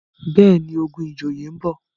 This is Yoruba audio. béèni, ogun ìjòyè nbọ.